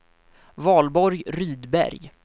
Valborg Rydberg